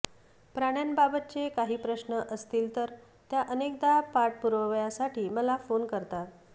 प्राण्यांबाबतचे काही प्रश्न असतील तर त्या अनेकदा पाठपुराव्यासाठी मला फोन करतात